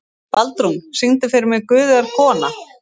Baldrún, syngdu fyrir mig „Guð er kona“.